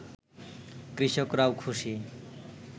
কৃষকরাও খুশি